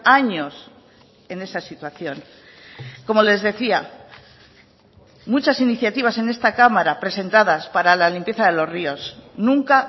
años en esa situación como les decía muchas iniciativas en esta cámara presentadas para la limpieza de los ríos nunca